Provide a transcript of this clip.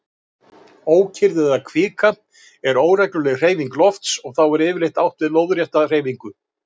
Ókyrrð eða kvika er óregluleg hreyfing lofts og þá er yfirleitt átt við lóðrétta hreyfingu.